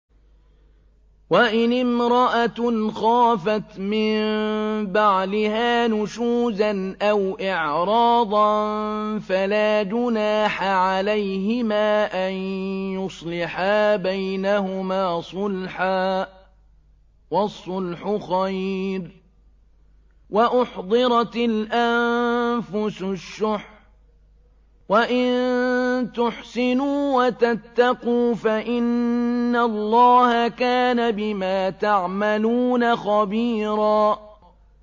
وَإِنِ امْرَأَةٌ خَافَتْ مِن بَعْلِهَا نُشُوزًا أَوْ إِعْرَاضًا فَلَا جُنَاحَ عَلَيْهِمَا أَن يُصْلِحَا بَيْنَهُمَا صُلْحًا ۚ وَالصُّلْحُ خَيْرٌ ۗ وَأُحْضِرَتِ الْأَنفُسُ الشُّحَّ ۚ وَإِن تُحْسِنُوا وَتَتَّقُوا فَإِنَّ اللَّهَ كَانَ بِمَا تَعْمَلُونَ خَبِيرًا